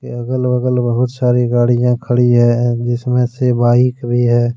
अगल बगल बहुत सारी गाड़ियां खड़ी है जिसमें से बाइक भी है।